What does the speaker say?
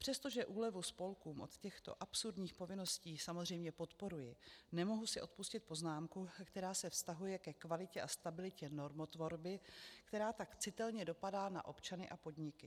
Přestože úlevu spolkům od těchto absurdních povinností samozřejmě podporuji, nemohu si odpustit poznámku, která se vztahuje ke kvalitě a stabilitě normotvorby, která tak citelně dopadá na občany a podniky.